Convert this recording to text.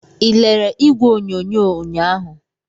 Ị lere igwe onyonyo ụnyahụ?